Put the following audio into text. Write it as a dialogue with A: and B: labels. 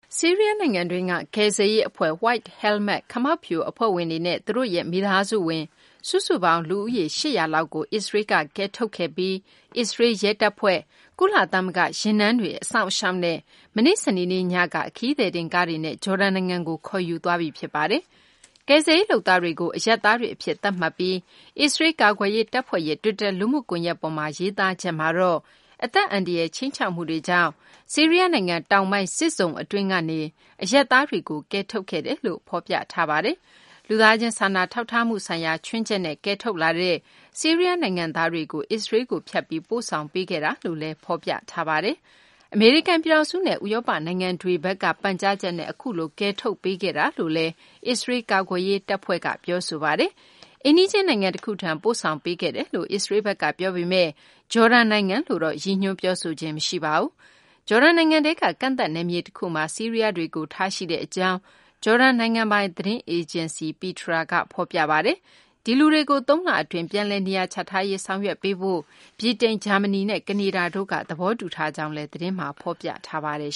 A: ဆီးရီးယားနိုင်ငံတွင်းက ကယ်ဆယ်ရေး အဖွဲ့ White Helmet - ခမောက်ဖြူ အဖွဲ့ဝင်တွေနဲ့ သူတို့ရဲ့ မိသားစုဝင် စုစုပေါင်း လူဦးရေ ၈၀၀ လောက်ကို အစ္စရေးလ်က ကယ်ထုတ်ခဲ့ပြီး အစ္စရေးလ် ရဲတပ်ဖွဲ့၊ ကုလသမဂ္ဂ ယာဉ်တန်းတွေ အစောင့်အရှောက်နဲ့ မနေ့ စနေနေ့ညက ခရီးသည်တင်ကားတွေနဲ့ ဂျော်ဒန် နိုင်ငံကို ခေါ်ယူသွားပြီ ဖြစ်ပါတယ်။ ကယ်ဆယ်ရေး လုပ်သားတွေကို အရပ်သားတွေ အဖြစ် သတ်မှတ်ပြီး အစ္စရေးလ် ကာကွယ်ရေး တပ်ဖွဲ့ရဲ့ တွစ်တာ လူမှုကွန်ယက်ပေါ်မှာ ရေးသားချက်မှာတော့ အသက်အန္တရာယ် ခြိမ်းခြောက်မှုတွေကြောင့် ဆီးရီးယားနိုင်ငံ တောင်ပိုင်း စစ်ဇုံ အတွင်းကနေ အရပ်သားတွေကို ကယ်ထုတ်ခဲ့တယ်လို့ ဖော်ပြထားပါတယ်။ လူသားချင်း စာနာထောက်ထားမှု ဆိုင်ရာ ချွင်းချက်နဲ့ ကယ်ထုတ်လာတဲ့ ဆီးရီးယားနိုင်ငံသားတွေကို အစ္စရေးလ်ကို ဖြတ်ပြီး ပို့ဆောင်ပေးခဲ့တာလို့လည်း ဖော်ပြထားပါတယ်။ အမေရိကန် ပြည်ထောင်စုနဲ့ ဥရောပ နိုင်ငံတွေဘက်က ပန်ကြားချက်နဲ့ အခုလို ကယ်ထုတ်ပေးခဲ့တာလို့လည်း အစ္စရေးလ် ကာကွယ်ရေး တပ်ဖွဲ့က ပြောဆိုထားပါတယ်။ အိမ်နီးချင်း နိုင်ငံတခုထံကို ပို့ဆောင်ပေးခဲ့တယ်လို့ အစ္စရေးလ်ဘက်က ပြောပေမယ့် ဂျော်ဒန်နိုင်ငံလို့တော့ ရည်ညွှန်းပြောဆိုခြင်း မရှိပါဘူး။ ဂျော်ဒန်နိုင်ငံထဲက ကန့်သတ် နယ်မြေတခုမှာ ဆီးရီးယားတွေကို ထားရှိထားကြောင်း ဂျော်ဒန် နိုင်ငံပိုင် သတင်းအေဂျင်စီ Petra က ဖော်ပြပါတယ်။ ဒီလူတွေကို ၃ လအတွင်း ပြန်လည်နေရာချထားရေး ဆောင်ရွက်ဖို့ ဗြိတိန်၊ ဂျာမနီနဲ့ ကနေဒါတို့က သဘောတူထားကြောင်းလည်း သတင်းမှာ ဖော်ပြထားပါတယ်